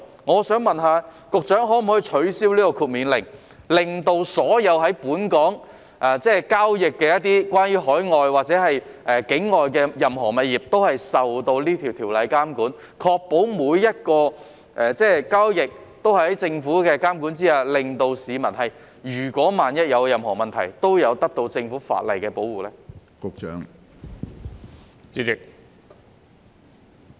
我想問局長可否取消豁免領牌令，使所有在本港交易的任何境外物業都受到條例監管，確保每項交易也在政府的監管下進行，令市民萬一遇到任何問題時都可得到法例的保護呢？